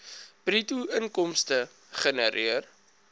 bruto inkomste gegenereer